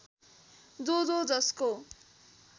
जो जो जसको